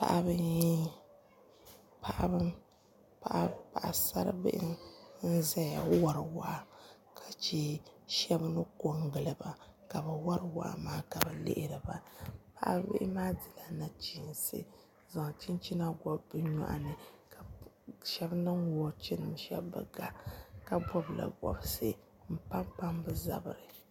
paɣisar' bihi n-zaya wari waa ka che shɛba ni ko n-gili ba ka bɛ wari waa maa ka bɛ lihiri ba paɣisar' bihi maa dila nachiinsi n-zaŋ chinchina gɔbi bɛ nyɔɣu ni ka shɛba niŋ woochinima shɛba bi ga ka bɔbila bɔbisi m-pampam bɛ zabiri